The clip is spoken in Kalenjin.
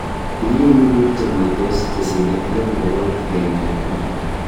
Tinyei ni biik chemweitos chesirei elebu bokol agenge ak konom